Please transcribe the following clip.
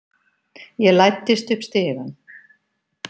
Ég læddist upp stigann.